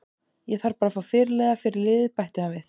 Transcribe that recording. Ég þarf bara að fá fyrirliða fyrir liðið, bætti hann við.